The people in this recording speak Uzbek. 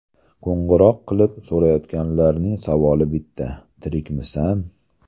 Qo‘ng‘iroq qilib so‘rayotganlarning savoli bitta: ‘Tirikmisan?